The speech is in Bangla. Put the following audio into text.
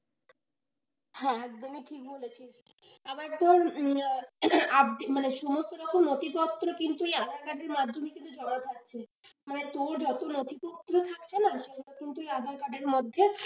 হ্যাঁ, একদমই ঠিক বলেছিস আবার ধর মানে সমস্ত রকম নথিপত্র কিন্তু aadhaar card এর মাধ্যমে কিন্তু জোড়া থাকছে মানে তোর যত নথিপত্র থাকছে না সেগুলো কিন্তু aadhaar card এর মধ্যে,